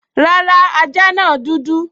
Rárá, ajá náà dúdú